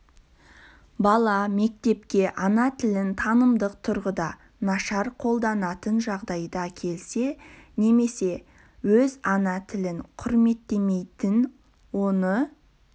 бала мектепке ана тілін танымдық тұрғыда нашар қолданатын жағдайда келсе немесе өз ана тілін құрметтемейтін оны